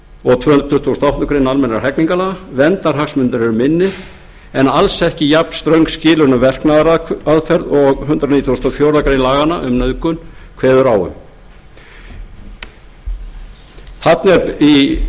og um tvö hundruð tuttugustu og áttundu grein almennra hegningarlaga verndarhagsmunirnir eru minni og alls ekki jafnströng skilyrði um verknaðaraðferð og hundrað nítugasta og fjórðu grein laganna um nauðgun kveður á um